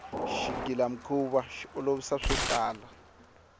xigila mikhuva xi olovisa swotala